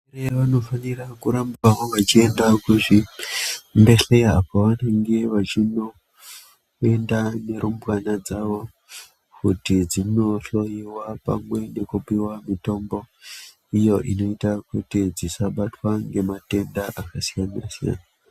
Varume vanofanira kurambawo vachienda kuzvibhedhleya kwavanenge vachinoenda nerumbwana dzawo kuti dzinohloiwa pamwe nekupiwa mitombo iyo inoita kuti dzisabatwa nematenda akasiyana siyana.